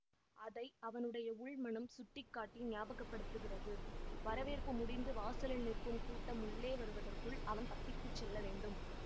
அதை அவனுடைய உள் மனம் சுட்டி காட்டி ஞாபகப்படுத்துகிறது வரவேற்பு முடிந்து வாசலில் நிற்கும் கூட்டம் உள்ளே வருவதற்குள் அவன் தப்பித்து செல்லவேண்டும்